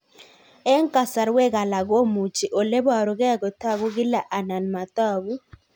Eng' kasarwek alak komuchi ole parukei kotag'u kila anan matag'u